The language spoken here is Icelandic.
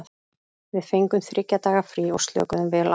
Við fengum þriggja daga frí og slökuðum vel á.